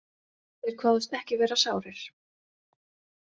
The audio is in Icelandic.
Þeir kváðust ekki vera sárir.